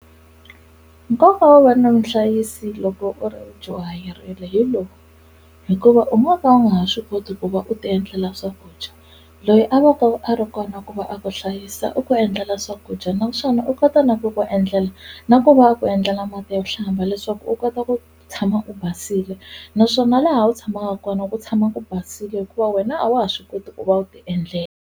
Nkoka wo va na muhlayisi loko u ri dyuhayirile hi lowu hikuva u nga va u nga ha swi koti ku va u ti endlela swakudya loyi a va ka a ri kona ku va a ku hlayisa u ku endla la swakudya naswona u kota na ku ku endlela na ku va ku endlela mati yo hlamba leswaku u kota ku tshama u basile naswona laha u tshamaka kona ku tshama ku basile hikuva wena a wa ha swi koti ku va u ti endlela.